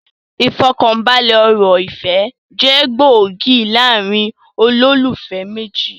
Ifọkanbalẹ ọ̀rọ̀ ìfẹ́ jẹ gbòógì láàrín olólùfẹ́ méjì